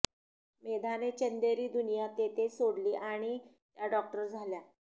मेधाने चंदेरी दुनिया तेथेच सोडली आणि त्या डॉक्टर झाल्या